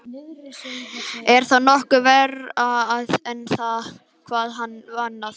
Er það nokkuð verra en hvað annað?